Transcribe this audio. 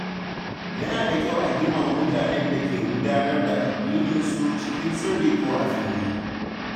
Yana da kyau a girmama mutanen da ke gudanar da addininsu cikin sirri ko a fili.